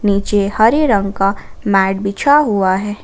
नीचे हरे रंग का मैट बिछा हुआ है।